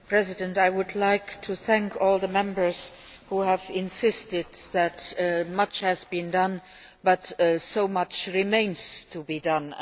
Mr President, I would like to thank all the Members who have insisted that much has been done, but also that so much remains to be done.